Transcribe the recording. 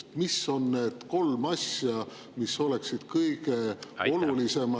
Aga mis on need kolm asja, mis oleksid Eestile kõige olulisemad …